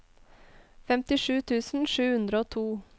femtisju tusen sju hundre og to